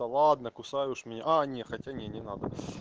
да ладно кусай уж меня а не хотя не не надо